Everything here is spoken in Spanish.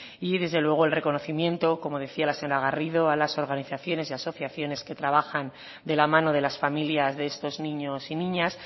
y desde luego el reconocimiento como decía la señora garrido a las organizaciones y asociaciones que trabajan de la mano de las familias de estos niños y niñas